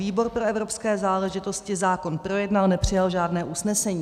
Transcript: Výbor pro evropské záležitosti zákon projednal, nepřijal žádné usnesení.